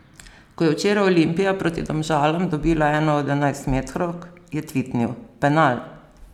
Ko je včeraj Olimpija proti Domžalam dobila eno od enajstmetrovk, je tvitnil: "Penal!